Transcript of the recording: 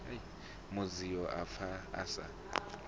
mudzio a pfa a sa